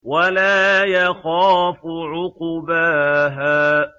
وَلَا يَخَافُ عُقْبَاهَا